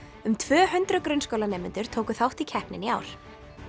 um tvö hundruð grunnskólanemendur tóku þátt í keppninni í ár